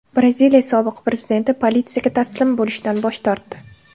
Braziliya sobiq prezidenti politsiyaga taslim bo‘lishdan bosh tortdi.